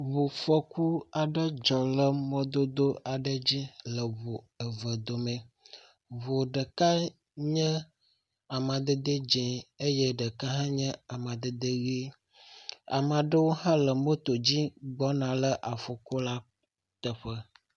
ʋufɔku aɖe dzɔ le mɔdodo aɖe dzi le ʋu eve domɛ, ʋu ɖeka nye amadede dzĩ eye ɖeka hã nye amadede ɣi amalewo hã le moto dzi he gbɔna afɔku la teƒe